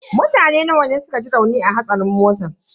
Mutane nawa ne suka ji rauni a hatsarin motan?